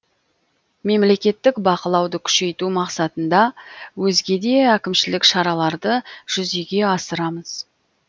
мемлекеттік бақылауды күшейту мақсатында өзге де әкімшілік шараларды жүзеге асырамыз